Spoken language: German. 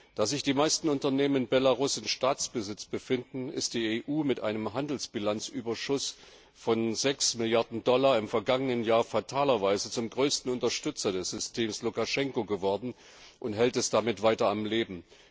Da sich die meisten Unternehmen in Belarus in Staatsbesitz befinden, ist die EU mit einem Handelsbilanzüberschuss von 6 Milliarden Dollar im vergangenen Jahr fatalerweise zum größten Unterstützer des Systems Lukaschenko geworden und hält es damit weiter am Leben.